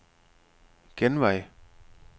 genvej